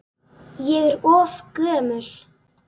Ég er of gömul.